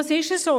Das ist so.